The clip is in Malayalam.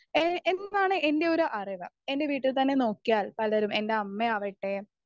സ്പീക്കർ 1 ഏ എന്നാണ് എൻ്റെയൊരു അറിവ് എൻ്റെ വീട്ടിൽ തന്നെ നോക്കിയാൽ പലരും എലെ അമ്മ ആവട്ടെ